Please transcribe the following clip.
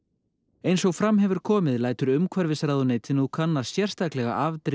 eins og fram hefur komið lætur umhverfisráðuneytið nú kanna sérstaklega afdrif